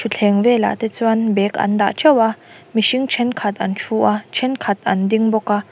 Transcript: thutthleng velah te chuan bag an dah ṭeuh a mihring ṭhenkhat an ṭhu a ṭhenkhat an ding bawk a.